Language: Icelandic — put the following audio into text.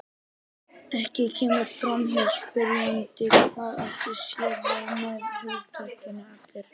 Ekki kemur fram hjá spyrjanda hvað átt sé við með hugtakinu allir.